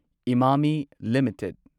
Emami limited